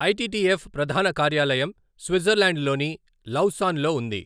ITTF ప్రధాన కార్యాలయం Switzerland లోని లౌసాన్ లో ఉంది.